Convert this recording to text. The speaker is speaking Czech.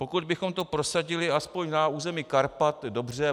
Pokud bychom to prosadili aspoň na území Karpat, dobře.